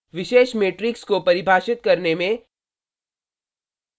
विशेष matrix को परिभाषित करने में